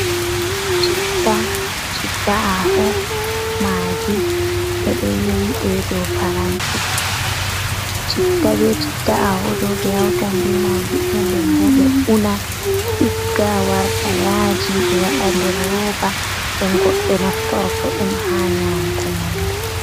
Chitta, chitta-aho, maagi, ɓe ɗo yowi ɗe dow paranti. Chitta, be chitta chitta-aho ɗo, ɓe hawtan be maagi ɗo nden bo ɓe una ɗigga warta yaaji, ɓe waɗa nder rooba, nde goɗɗo naftorto ɗum ha nyaamuki nyamdu.